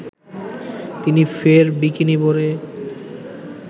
তিনি ফের বিকিনি পরে